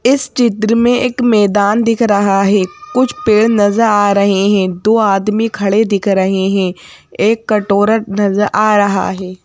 इस चित्र में एक मैदान दिख रहा है कुछ पेड़ नजर आ रहे हैं दो आदमी खड़े दिख रहे हैं एक कटोरा नजर आ रहा है।